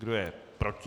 Kdo je proti?